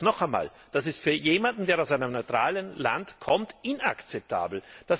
Ich sage es noch einmal Das ist für jemanden, der aus einem neutralen Land kommt, inakzeptabel!